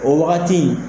O wagati in